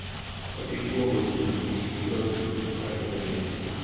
Wadhi kuongo chung` e kiosk mar olembe.